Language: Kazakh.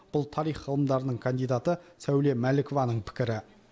бұл тарих ғылымдарының кандидаты сәуле мәлікованың пікірі